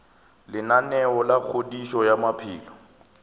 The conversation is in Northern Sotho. lenaneo la kgodišo ya maphelo